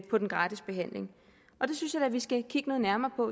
på den gratis behandling og det synes jeg da vi skal kigge noget nærmere på